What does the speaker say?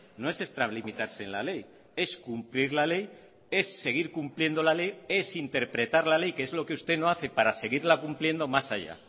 no es extralimitarse en la ley es cumplir la ley es seguir cumpliendo la ley es interpretar la ley que es lo que usted no hace para seguirla cumpliendo más allá